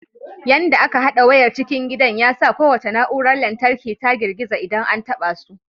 Yanda aka hada wayar cikin gidan ya sa kowace na'urar lantarki ta girgiza idan an taɓa su.